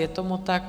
Je tomu tak.